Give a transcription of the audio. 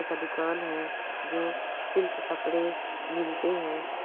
कपड़े का दुकान है जो सिल्क कपड़े मिलते हैं|